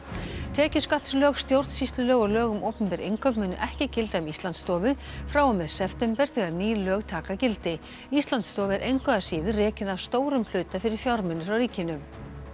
tekjuskattslög stjórnsýslulög og lög um opinber innkaup munu ekki gilda um Íslandsstofu frá og með september þegar ný lög taka gildi Íslandsstofa er engu að síður rekin að stórum hluta fyrir fjármuni frá ríkinu